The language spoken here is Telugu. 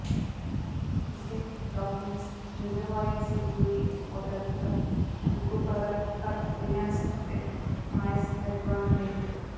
ఈ state documents reservoir security reporter for recoverer for రియ్యాన్స్ ఎట్ మయాస్ అడ్వాంటేంట్